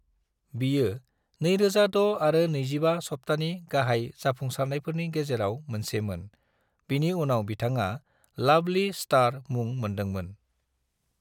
बियो 2006 आरो 25 हाप्तानि गाहाय जाफुंसारनायफोरनि गेजेराव मोनसेमोन, बिनि उनाव बिथांआ "लवली स्टार" मुं मोनदोंमोन।